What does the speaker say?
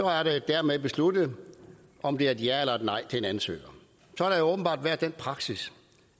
er det dermed besluttet om det er et ja eller et nej til en ansøger der har åbenbart været den praksis